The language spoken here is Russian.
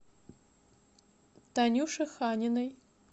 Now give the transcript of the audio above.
танюше ханиной